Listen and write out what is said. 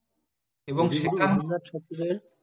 এবং সেটা আমরা ছাড়তে চাই